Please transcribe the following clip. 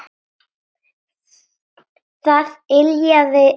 Það yljaði mér.